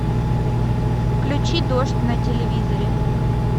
включи дождь на телевизоре